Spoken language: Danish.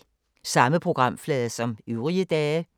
Samme programflade som øvrige dage